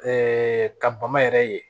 ka bama yɛrɛ ye